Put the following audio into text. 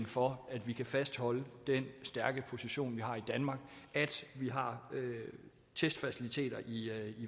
for at vi kan fastholde den stærke position vi har i danmark at vi har testfaciliteter i